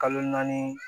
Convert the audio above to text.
Kalo naani